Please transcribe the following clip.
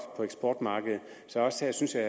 på eksportmarkedet så også her synes jeg